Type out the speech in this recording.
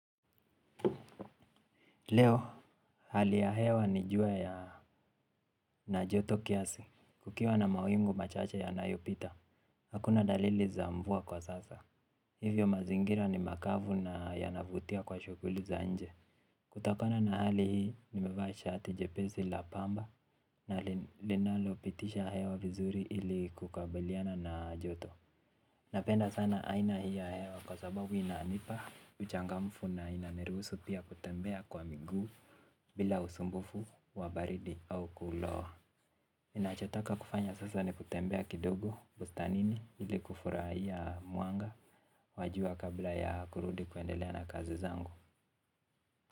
Leo hali ya hewa ni jua ya na joto kiasi kukiwa na mawingu machache yanayopita. Hakuna dalili za mvua kwa sasa. Hivyo mazingira ni makavu na yanavutia kwa shughuli za nje. Kutakona na hali hii nimevaa shati jepesi la pamba na linalo pitisha hewa vizuri ili kukabiliana na joto. Napenda sana aina hii ya hewa kwa sababu inanipa uchangamfu na inaniruhusu pia kutembea kwa miguu. Bila usumbufu wa baridi au kulowa ninachotaka kufanya sasa ni kutembea kidogo bustanini ili kufurahia mwanga wa jua kabla ya kurudi kuendelea na kazi zangu.